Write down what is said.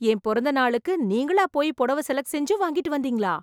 என் பிறந்த நாளுக்கு, நீங்களா போயி புடவை செலக்ட் செஞ்சு, வாங்கிட்டு வந்தீங்களா..